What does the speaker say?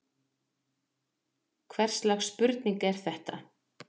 Hvers slags spurning er þetta!